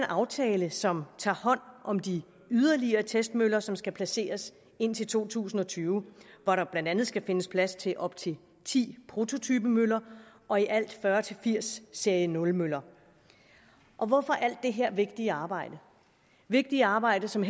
aftale som tager hånd om de yderligere testmøller som skal placeres indtil to tusind og tyve hvor der blandt andet skal findes plads til op til ti prototypemøller og i alt fyrre til firs serie nul møller hvorfor alt det her vigtige arbejde vigtige arbejde som